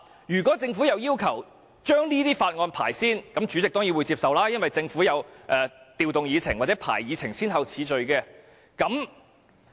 如果政府要求先審議這些法案，主席當然會接受，因為政府可以調動議程的先後次序。